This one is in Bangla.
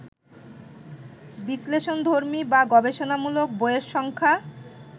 বিশ্লেষণধর্মী বা গবেষণামূলক বইয়ের সংখ্যা